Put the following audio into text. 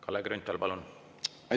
Kalle Grünthal, palun!